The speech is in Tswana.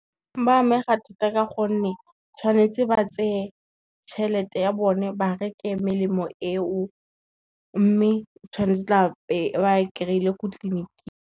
Ba amega thata ka gonne, tshwanetse ba tseye tšhelete ya bone ba reke melemo eo, mme o tshwanetse o tla be ba e kry-ile ko tleliniking.